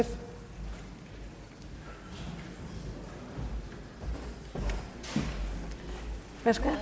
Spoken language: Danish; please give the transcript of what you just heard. klare